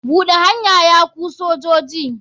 Buɗe hanya ya ku sojoji.